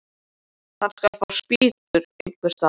Hann skal fá spýtur einhvers staðar.